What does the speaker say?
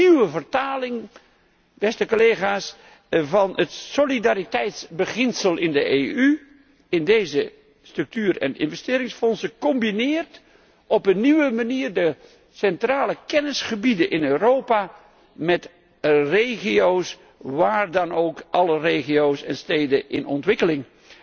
De nieuwe vertaling van het solidariteitsbeginsel in de EU via deze structuur en investeringsfondsen combineert op een nieuwe manier de centrale kennisgebieden in Europa met regio's, maar dan ook alle regio's en steden in ontwikkeling.